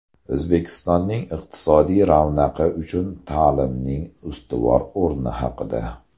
O‘zbekistonning iqtisodiy ravnaqi uchun ta’limning ustuvor o‘rni haqida.